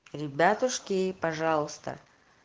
ребятушки пожалуйста